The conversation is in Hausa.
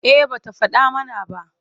Eh ba ta faɗa mana ba.